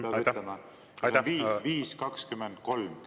See on olemas, jah, aitäh!